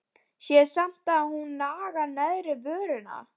Sé samt að hún nagar neðri vörina.